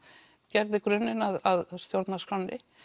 gerði grunninn að stjórnarskránni